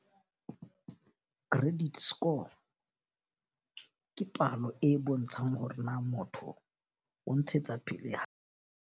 Credit score ke palo e bontshang hore na motho o ntshetsa pele hae.